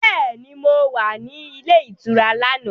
Bẹ́ẹ̀ni, mo wà ní ilé ìtura lánàá